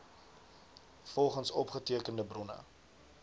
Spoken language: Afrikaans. volgens opgetekende bronne